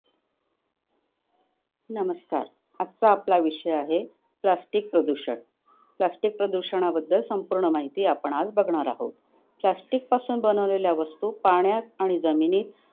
नमस्कार! आजचा आपला विषय आहे plastic प्रदूषण. Plastic प्रदूषणाबद्दल संपूर्ण माहिती आज आपण बघणार आहोत. plastic पासून बनवलेल्या वस्तू पाण्यात आणि जमिनीत